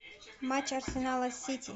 матч арсенала с сити